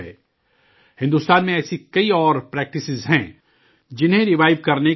ہندوستان میں ایسی کئی اور پریکٹسز ہیں جنہیں ریوائیو کرنے کی ضرورت ہے